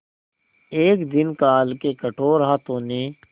एक दिन काल के कठोर हाथों ने